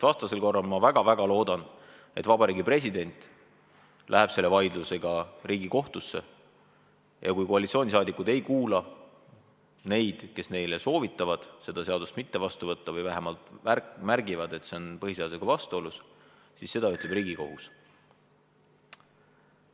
Vastasel korral ma väga-väga loodan, et president läheb selle vaidlusega Riigikohtusse ja kui koalitsiooni liikmed ei kuula neid, kes neile soovitavad seda seadust mitte vastu võtta või vähemalt märgivad, et see on põhiseadusega vastuolus, siis ütleb seda Riigikohus.